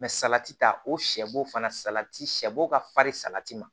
salati ta o sɛ bo fana salati sɛbɔ ka farin salati ma